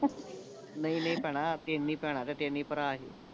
ਨਹੀਂ ਨਹੀਂ ਭੈਣਾਂ ਤਿੰਨ ਹੀ ਭੈਣਾਂ ਤੇ ਤਿੰਨ ਹੀ ਭਰਾ ਸੀ